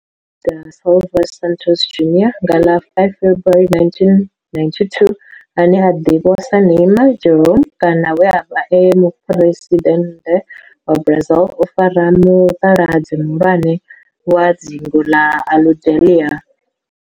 Neymar da Silva Santos Junior, nga ḽa 5 February 1992, ane a ḓivhiwa sa Ne'ymar' Jeromme kana we a vha e muphuresidennde wa Brazil o fara mutaladzi muhulwane wa dzingu ḽa Aludalelia.